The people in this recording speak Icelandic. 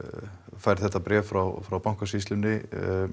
fær þetta bréf frá frá Bankasýslunni